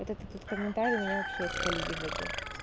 вот этот вот комментарий меня вообще из колии выбил